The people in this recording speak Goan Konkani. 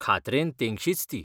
खात्रेन तेंगशीच ती.